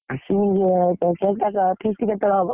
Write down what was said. ଆସିମି feast କେତବେଳେ ହବ?